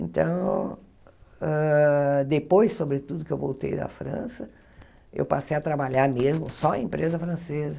Então, hã depois sobre tudo que eu voltei da França, eu passei a trabalhar mesmo só em empresa francesa.